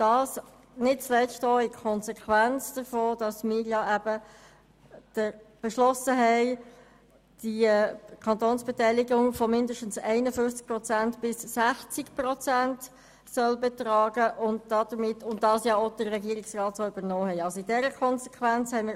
Diese Ablehnungen sind nicht zuletzt als Konsequenz daraus entstanden, dass wir beschlossen haben, dass die Kantonsbeteiligung mindestens 51 Prozent und maximal 60 Prozent betragen soll, was der Regierungsrat ja übernommen hat.